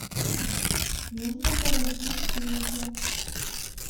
нужно положить деньги